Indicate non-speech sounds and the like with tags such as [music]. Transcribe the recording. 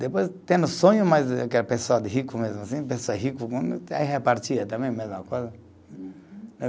Depois, tendo sonho mais de aquela pessoa de rico mesmo assim, pessoa rica, [unintelligible] aí repartia também a mesma coisa. [unintelligible]